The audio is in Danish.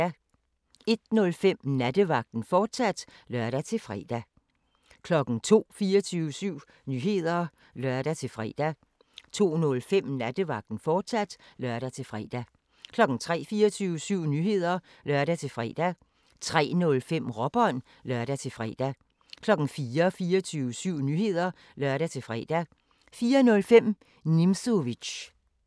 01:05: Nattevagten, fortsat (lør-fre) 02:00: 24syv Nyheder (lør-fre) 02:05: Nattevagten, fortsat (lør-fre) 03:00: 24syv Nyheder (lør-fre) 03:05: Råbånd (lør-fre) 04:00: 24syv Nyheder (lør-fre) 04:05: Nimzowitsch